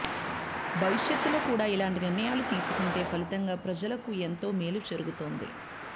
భవిష్యత్తులో కూడా ఇలాంటి నిర్ణయాలు తీసుకుంటే ఫలితంగా ప్రజలకు ఎంతో మేలు జరు గుతుంది